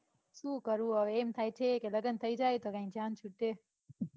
સુ કરું હવે એમ થાય છે કે લગન થઇ જાય તો કાંઈ જાણ છૂટે.